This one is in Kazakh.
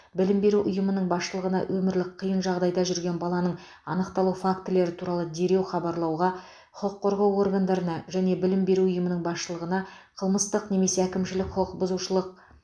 білім беру ұйымының басшылығына өмірлік қиын жағдайда жүрген баланың анықталу фактілері туралы дереу хабарлауға құқық қорғау органдарына және білім беру ұйымының басшылығына қылмыстық немесе әкімшілік құқық бұзушылық